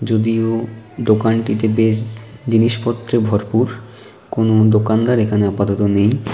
যদিও দোকানটিতে বেশ জিনিসপত্রে ভরপুর কোন দোকানদার এখানে আপাতত নেই।